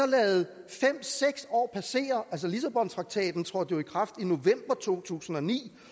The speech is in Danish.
ladet fem seks år passere lissabontraktaten trådte jo i kraft i november to tusind og ni